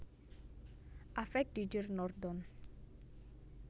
Avec Didier Nordon